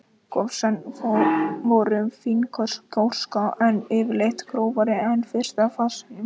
Gosefnin voru fínkorna gjóska, en yfirleitt grófari en í fyrsta fasanum.